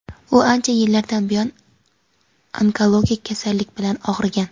U ancha yillardan buyon onkologik kasallik bilan og‘rigan.